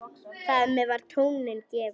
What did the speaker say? Þar með var tónninn gefinn.